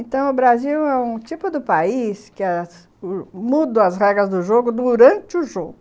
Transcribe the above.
Então o Brasil é um tipo do país que muda as regras do jogo durante o jogo.